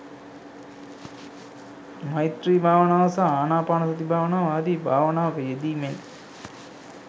මෛත්‍රී භාවනාව සහ ආනාපානසති භාවනාව ආදි භාවනාවක යෙදීමෙන්